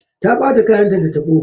Ta ɓata kayanta da tabo.